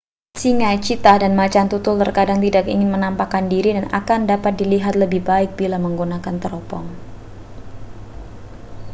singa cheetah dan macan tutul terkadang tidak ingin menampakkan diri dan akan dapat dilihat lebih baik bila menggunakan teropong